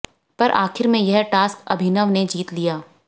पर आखिर में यह टास्क अभिनव ने जीत लिया